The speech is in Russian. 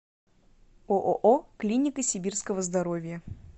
ооо клиника сибирского здоровья